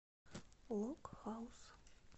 логхаус